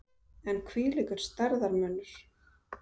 En hvílíkur stærðarmunur!